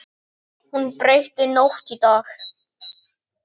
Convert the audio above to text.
Hún breytti nótt í dag.